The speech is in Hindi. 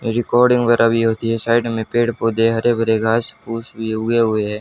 रिकॉर्डिंग वगेरा भी होती है साइड में पेड़ पौधे हरे भरे घास पूस भी उगे हुए है।